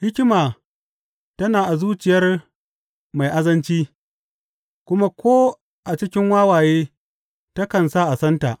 Hikima tana a zuciyar mai azanci, kuma ko a cikin wawaye takan sa a santa.